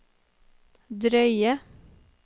drøye